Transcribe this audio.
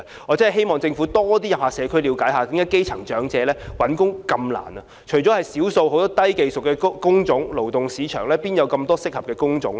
我真的希望政府多到社區了解基層長者找工作的困難，除了少數低技術工種外，勞動市場何來這麼多適合長者的工種呢？